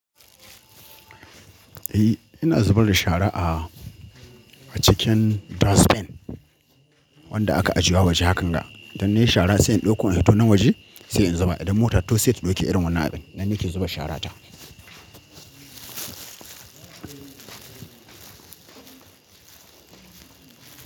Eh ina zubar da shara a, a cikin dustbin wanda aka ajiye a waje hakan ga. Dan na yi shara sai in ɗauko in fito nan waje sai in zuba idan mota to sai ta ɗauke irin wannan abin. Nan nake zuba shara ta.